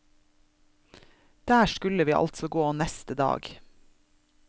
Der skulle vi altså gå neste dag.